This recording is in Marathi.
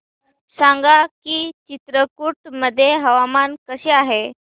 सांगा की चित्रकूट मध्ये हवामान कसे आहे